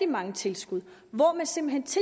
mange tilskud hvor man simpelt